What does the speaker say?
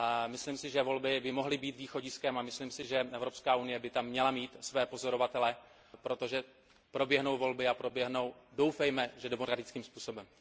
Myslím si, že volby by mohly být východiskem, a myslím si, že Evropská unie by tam měla mít své pozorovatele, protože proběhnou volby, a doufejme, že proběhnou demokratickým způsobem.